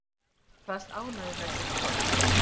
Hann kvaðst ánægður með sitt form